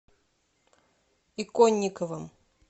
иконниковым